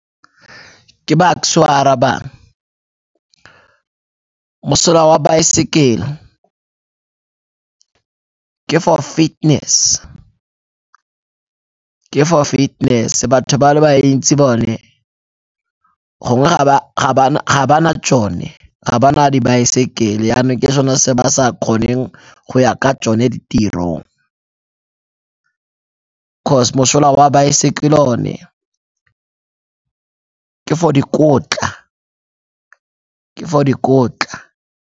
Ke Bucks-e yo a arabang, mosola wa baesekele ke for fitness, batho ba le bantsi bone gongwe ga ba na tsone, ga ba na dibaesekele yanong ke sone se ba sa kgoneng go ya ka tsone ditirong, course mosola wa baesekele one ke for dikotla.